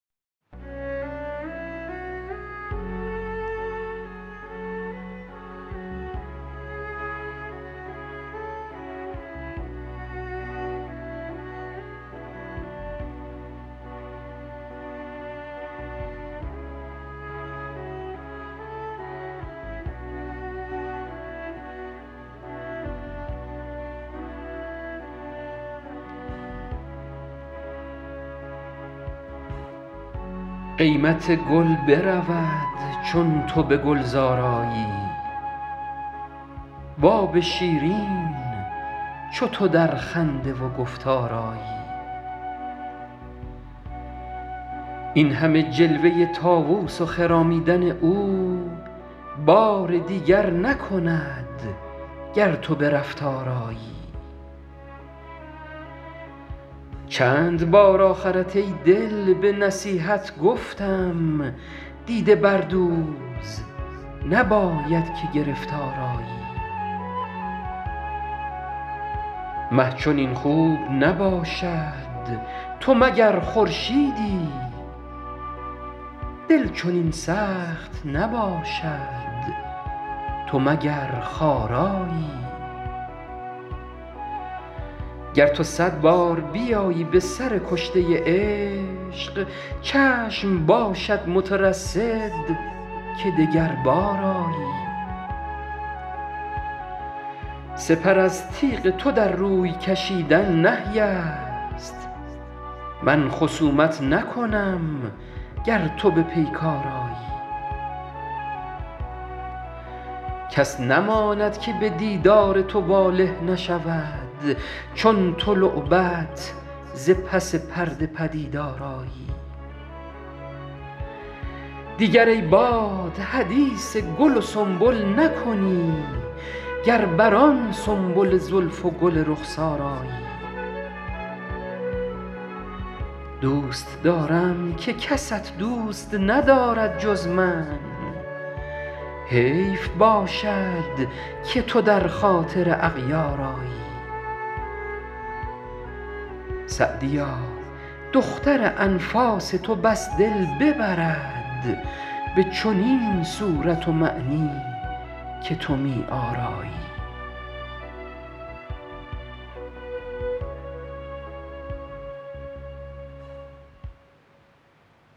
قیمت گل برود چون تو به گلزار آیی و آب شیرین چو تو در خنده و گفتار آیی این همه جلوه طاووس و خرامیدن او بار دیگر نکند گر تو به رفتار آیی چند بار آخرت ای دل به نصیحت گفتم دیده بردوز نباید که گرفتار آیی مه چنین خوب نباشد تو مگر خورشیدی دل چنین سخت نباشد تو مگر خارایی گر تو صد بار بیایی به سر کشته عشق چشم باشد مترصد که دگربار آیی سپر از تیغ تو در روی کشیدن نهی است من خصومت نکنم گر تو به پیکار آیی کس نماند که به دیدار تو واله نشود چون تو لعبت ز پس پرده پدیدار آیی دیگر ای باد حدیث گل و سنبل نکنی گر بر آن سنبل زلف و گل رخسار آیی دوست دارم که کست دوست ندارد جز من حیف باشد که تو در خاطر اغیار آیی سعدیا دختر انفاس تو بس دل ببرد به چنین صورت و معنی که تو می آرایی